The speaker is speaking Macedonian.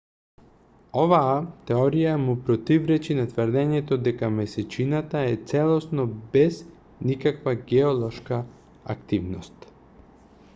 оваа теорија му противречи на тврдењето дека месечината е целосно без никаква геолошка активност